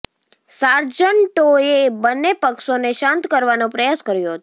સાર્જન્ટોએ બંને પક્ષોને શાંત કરવાનો પ્રયાસ કર્યો હતો